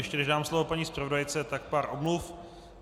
Ještě než dám slovo paní zpravodajce, tak pár omluv.